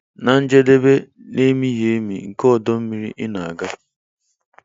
Na njedebe na-emighị emi nke ọdọ mmiri ị na-aga!